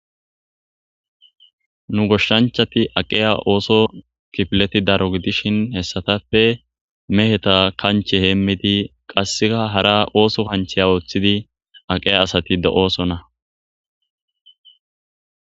Nu goshshanchati aqeya ooso kifileti daro gidishin hessatappe meheta kanche heemmidi qasseka hara ooso kancheya ooththidi aqeya asati do7oosonna.